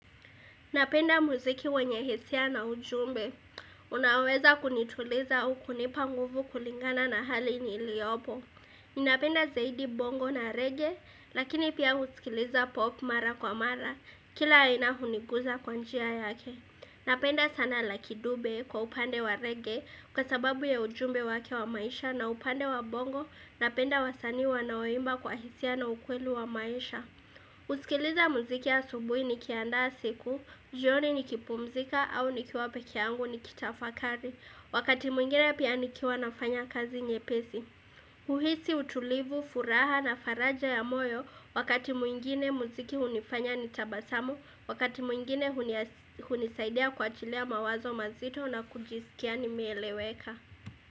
Napenda muziki wenye hisia na ujumbe. Unaweza kunituliza ukinipa nguvu kulingana na hali niliopo. Ninapenda zaidi bongo na rege, lakini pia husikiliza pop mara kwa mara, kila aina hunikuza kwa njia yake. Napenda sana lucky dube kwa upande wa rege kwa sababu ya ujumbe wake wa maisha na upande wa bongo. Napenda wasanii wanaoimba kwa hisia na ukweli wa maisha. Kusikiliza muziki ya asubuhi nikiandaa siku, jioni nikipumzika au nikiwa peke yangu nikitafakari Wakati mwingine pia nikiwa nafanya kazi nyepesi kuhisi, utulivu, furaha na faraja ya moyo Wakati mwingine mziki hunifanya nitabasamu Wakati mwingine hunisaidia kuachilia mawazo mazito na kujiskia nimeeleweka.